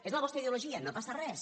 és la vostra ideologia no passa res